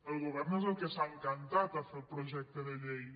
el govern és el que s’ha encantat a fer el pro·jecte de llei